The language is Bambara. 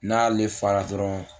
N'ale fara dɔrɔn